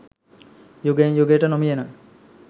යුගයෙන් යුගයට නොමියෙන